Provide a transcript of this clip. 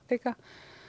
líka